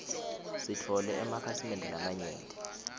sitfole emakhasimende lamanyenti